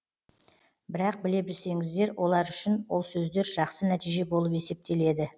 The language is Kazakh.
бірақ біле білсеңіздер олар үшін ол сөздер жақсы нәтиже болып есептеледі